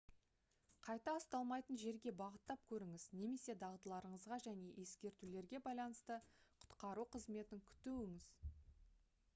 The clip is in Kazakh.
қайта ұсталмайтын жерге бағыттап көріңіз немесе дағдыларыңызға және ескертулерге байланысты құтқару қызметін күтуіңіз